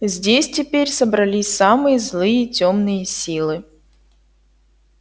здесь теперь собрались самые злые тёмные силы